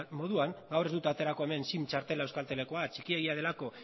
moduan gaur ez dut aterako hemen sim txartela euskaltelekoa txikiegia delako